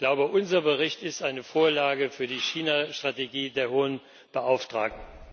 Ich glaube, unser Bericht ist eine Vorlage für die China Strategie der Hohen Beauftragten.